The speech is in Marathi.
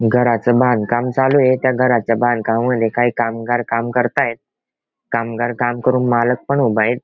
घराचं बांधकाम चालू आहे त्या घराचा बांधकामामध्ये काही कामगार काम करतायत कामगार काम करून पण मालक पण उभा आहे.